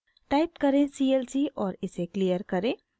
type करें clc और इसे क्लियर करें